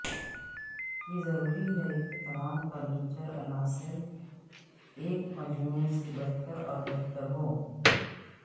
یہ ضروری ہے کہ تمام فرنیچر عناصر ایک مجموعہ سے بہتر اور بہتر ہو